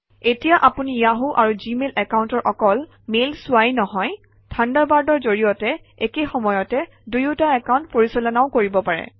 এতিয়া আপুনি য়াহু আৰু জিমেইল একাউণ্টৰ অকল মেইল চোৱাই নহয় থাণ্ডাৰবাৰ্ডৰ জৰিয়তে একে সময়তে দুয়োটা একাউণ্ট পৰিচালনাও কৰিব পাৰে